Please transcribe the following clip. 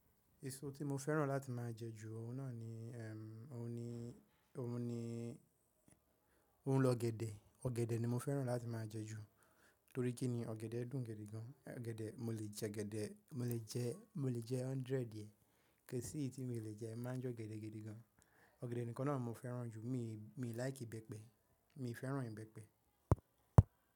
Èso tí mo fẹ́ràn láti máa jẹ jù ọ̀ún náà ni ẹm ọ̀ún ni ọ̀ún ni ọ̀ún ni ọ̀gẹ̀dẹ̀, ọ̀gẹ̀dẹ̀ ni mo fẹ́ràn láti máa jẹ jù torí kíni ọ̀gẹ̀dẹ̀ dùn gidi gan. Ọ̀gẹ̀dẹ̀ mo lè jẹ gẹ́dẹ̀, mo lè jẹ, mo lè jẹ hundred diẹ̀, kìí sí tí mo lè jẹ máa jẹ ọ̀gẹ̀dẹ̀ gidi gan. Ọ̀gẹ̀dẹ̀ nìkan náà mo fẹ́ràn jù, mi mi feran ìbẹ́pẹ, mi fẹ́ràn ìbẹ́pẹ.